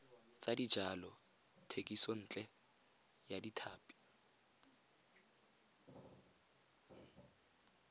tsa dijalo thekisontle ya tlhapi